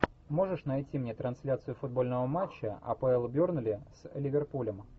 можешь найти мне трансляцию футбольного матча апл бернли с ливерпулем